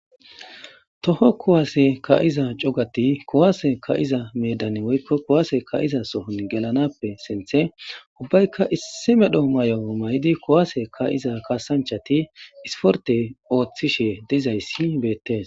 toho kowase ka7iza cogati kowaase ka7iza medan woykko kowaase kaiza sohon gelanappe sinthe ubbaykka issi medho may7o may7idi kowaase ka7iza kaasanchati isporte ooththishe dizayssi beettes